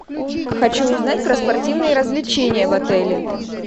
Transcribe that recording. хочу узнать про спортивные развлечения в отеле